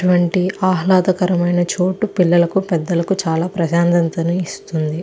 ఇలాంటి ఆహ్లాదకరమైన చోటు పిల్లలకు పెద్ధలకు చాలా ప్రశాంతతను ఇస్తుంది.